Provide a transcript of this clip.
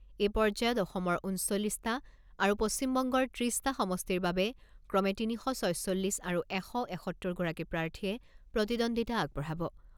এই পৰ্যায়ত অসমৰ ঊনচল্লিছটা আৰু পশ্চিমবংগৰ ত্ৰিছটা সমষ্টিৰ বাবে ক্ৰমে তিনি শ ছয়চল্লিছ আৰু এশ এসত্তৰ গৰাকী প্ৰাৰ্থীয়ে প্ৰতিদ্বন্দ্বিতা আগবঢ়াব।